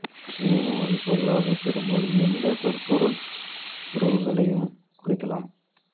எனினும் அது பொதுவாக பெரும்பாலும் எந்தச் சொற்பொருள் உறவுகளையும் குறிக்கலாம்